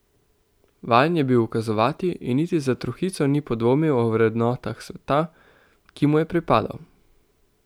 Vajen je bil ukazovati in niti za trohico ni podvomil o vrednotah sveta, ki mu je pripadal.